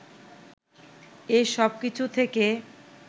এ সবকিছু থেকে